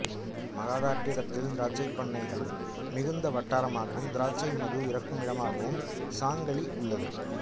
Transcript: மகாராட்டிரத்தில் திராட்சைப் பண்ணைகள் மிகுந்த வட்டாரமாகவும் திராட்சைமது இறுக்கும் இடமாகவும் சாங்கலி உள்ளது